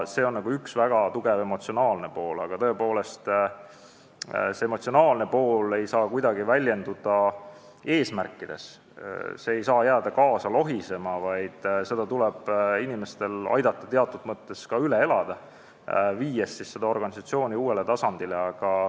See emotsionaalne pool on väga tugev, aga see ei saa kuidagi väljenduda eesmärkides, see ei saa jääda kaasa lohisema, vaid tuleb inimestel aidata teatud mõttes seda üle elada, viies organisatsiooni uuele tasandile.